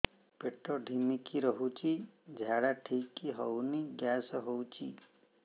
ପେଟ ଢିମିକି ରହୁଛି ଝାଡା ଠିକ୍ ହଉନି ଗ୍ୟାସ ହଉଚି